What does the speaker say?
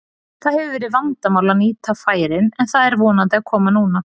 Það hefur verið vandamál að nýta færin en það er vonandi að koma núna.